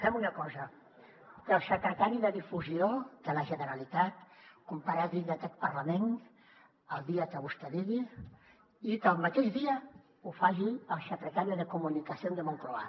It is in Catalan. fem una cosa que el secretari de difusió de la generalitat comparegui en aquest parlament el dia que vostè digui i que el mateix dia ho faci el secretario de comunicación de moncloa